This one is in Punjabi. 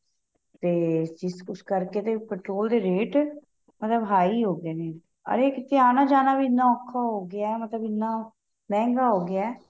ਤੇ ਇਸ ਕੁੱਛ ਕਰਕੇ ਤੇ petrol ਦੇ ਰੇਟ ਮਤਲਬ high ਹੋ ਗਏ ਨੇ ਅਰੇ ਕਿਥੇ ਆਨਾ ਜਾਣਾ ਵੀ ਇਹਨਾ ਔਖਾ ਹੋ ਗਿਆ ਏ ਮਤਲਬ ਇਹਨਾ ਮਹਿੰਗਾ ਹੋ ਗਿਆ ਏ